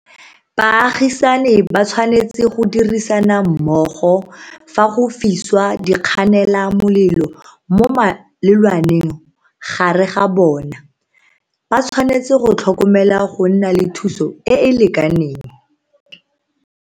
Baagisani ba tshwanetse go dirisana mmogo fa go fiswa dikganelamolelo mo malelwaneng gare ga bona. Ba tshwanetse go tlhokomela go nna le thuso e e lekaneng.